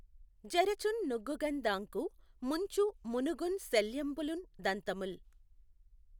జఱచుం నుగ్గుగఁ దాఁకు ముంచు మునుగుం శల్యంబులుం దంతముల్